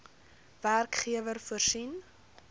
werkgewer voorsien